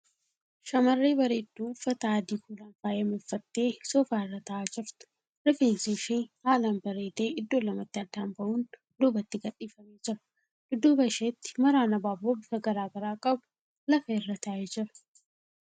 Shamarree bareedduu uffata adii kuulan faayame uffattee soofaa irra taa'aa jirtu. Rifeensi ishee haalan bareedee iddoo lamatti addaan ba'uun duubatti gadhiifamee jira. Dudduuba isheetti maraan abaaboo bifa gara garaa qabu lafarra taa'ee jira.